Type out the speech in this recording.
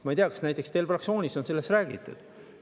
Ma ei tea, kas teil fraktsioonis on sellest räägitud.